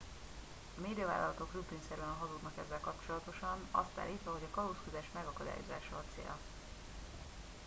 "a médiavállalatok rutinszerűen hazudnak ezzel kapcsolatosan azt állítva hogy "a kalózkodás megakadályozása" a célja.